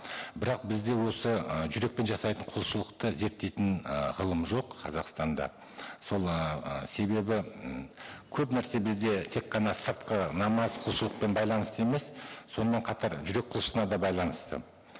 бірақ бізде осы ы жүрекпен жасайтын құлшылықты зерттейтін ы ғылым жоқ қазақстанда сол ы себебі м көп нәрсе бізде тек қана сыртқы намаз құлшылықпен байланысты емес сонымен қатар жүрек құлшылығына да байланысты